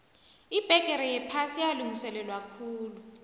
ibbegere yephasi yalungiselelwakhulu